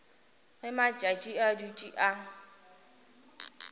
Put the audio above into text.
ge matšatši a dutše a